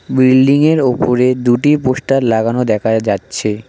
বিল্ডিংয়ের ওপরে দুটি পোস্টার লাগানো দেখা যাচ্ছে।